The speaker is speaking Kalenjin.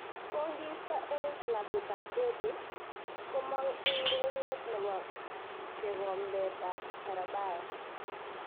Kogiisto eng klabuit ab derby komong eng ureriet nebo kekombet ab carabao